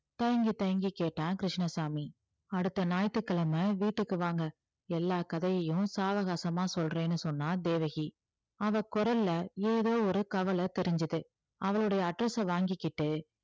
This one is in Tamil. தயங்கி தயங்கி கேட்டான் கிருஷ்ணசாமி அடுத்த ஞாயிற்றுக்கிழமை வீட்டுக்கு வாங்க எல்லா கதையையும் சாவகாசமா சொல்றேன்னு சொன்னா தேவகி அவ குரல்ல ஏதோ ஒரு கவலை தெரிஞ்சது அவளுடைய address அ வாங்கிகிட்டு